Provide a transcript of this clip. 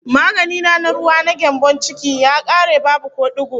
Magani na na ruwa, na gyambon ciki, ya kare, babu ko digo